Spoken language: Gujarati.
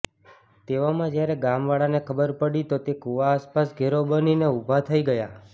તેવામાં જયારે ગામ વાળાને ખબર પડી તો તે કુવા આસપાસ ઘેરો બનીને ઉભા થઇ ગયા